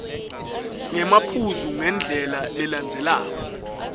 ngemaphuzu ngendlela lelandzelelako